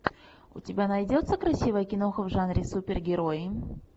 у тебя найдется красивая киноха в жанре супергерои